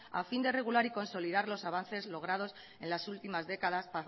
a fin de regular y consolidar los avances logrados en las últimas décadas